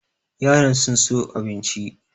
Yaran sun so abincin.